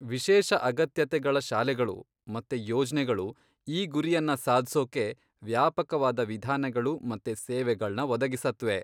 ವಿಶೇಷ ಅಗತ್ಯತೆಗಳ ಶಾಲೆಗಳು ಮತ್ತೆ ಯೋಜ್ನೆಗಳು ಈ ಗುರಿಯನ್ನ ಸಾಧ್ಸೋಕೆ ವ್ಯಾಪಕವಾದ ವಿಧಾನಗಳು ಮತ್ತೆ ಸೇವೆಗಳ್ನ ಒದಗಿಸತ್ವೆ.